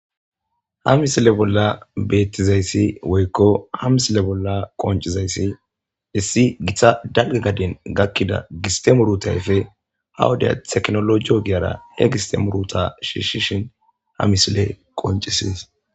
ha misile bolla beettizayssi woykko ha misile bolla qoncizayssi issi githa dalga gadan gakkida giste muruta ayfe ha wode teknologiyo ogiyara he giste muruta shiishin ha misile qoncises